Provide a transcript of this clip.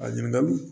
A ɲininkali